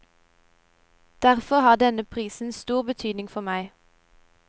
Derfor har denne prisen stor betydning for meg.